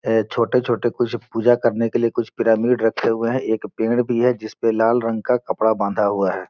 ये छोटे-छोटे कुछ पूजा करने के लिए कुछ पिरामिड रखे हुए है एक पेड़ भी है जिसपे लाल रंग का कपड़ा बंधा हुआ हैं।